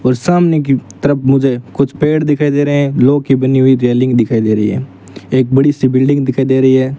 और सामने की तरफ मुझे कुछ पेड़ दिखाई दे रहे हैं लोह की बनी हुई रेलिंग दिखाई दे रही है एक बड़ी सी बिल्डिंग दिखाई दे रही है।